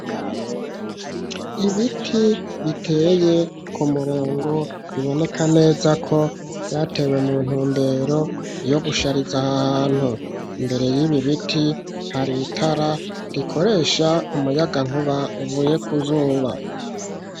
Ibiti biteye ku murongo biboneka neza ko vyatewe mu ntundero yo gushariza aha hantu imbere y'ibiibiti har itara rikoresha umuyagankuba uvuye kuzuba.